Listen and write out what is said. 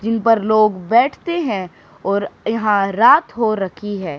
जिन पर लोग बैठते हैं और यहां रात हो रखी है।